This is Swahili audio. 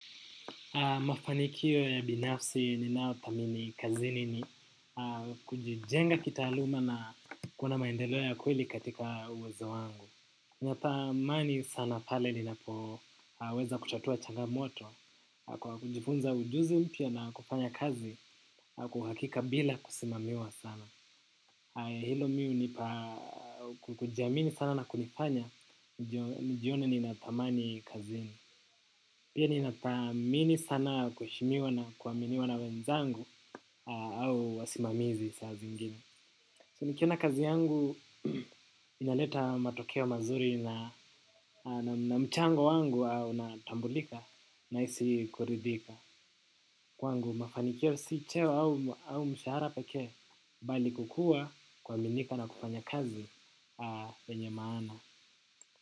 Mafanikio ya binafsi ninao thamini kazini ni kujijenga kitaaluma na kuona maendeleo ya kweli katika uwezo wangu. Natamani sana pale ninapoweza kutatua changamoto kwa kujifunza ujuzi mpya na kufanya kazi kwa uhakika bila kusimamiwa sana. Hilo mi hunipa kujamini sana na kunifanya nijione nina thamani kazini. Pia ninathamini sana kuheshimiwa na kuaminiwa na wenzangu au wasimamizi saa zingine. So nikiona kazi yangu inaleta matokeo mazuri na mchango wangu unatambulika nahisi kuridhika. Kwangu mafanikio si cheo au mshahara pekee bali kukuwa kuaminika na kufanya kazi wenye maana.